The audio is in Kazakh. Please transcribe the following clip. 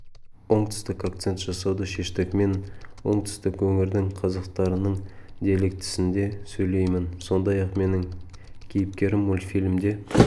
оңтүстік акцент жасауды шештік мен оңтүстік өңірдің қазақтарының диалектісінде сөйлеймін сондай-ақ менің кейіпкерім мультфильмде